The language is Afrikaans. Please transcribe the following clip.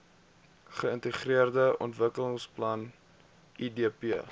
geintegreerde ontwikkelingsplan idp